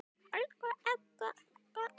Elsku Agga okkar.